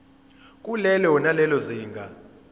kulelo nalelo zinga